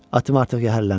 Atım artıq yəhərlənib.